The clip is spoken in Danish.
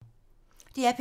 DR P3